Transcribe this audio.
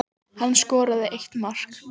Hann skoraði eitt mark